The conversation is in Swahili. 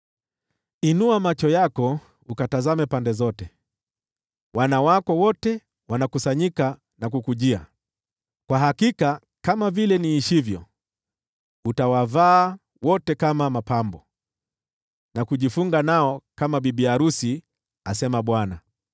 Inua macho yako ukatazame pande zote: wana wako wote wanakusanyika na kukujia. Kwa hakika kama vile niishivyo, utawavaa wote kama mapambo, na kujifunga nao kama bibi arusi,” asema Bwana .